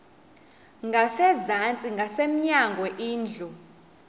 ngasezantsi ngasemnyango indlu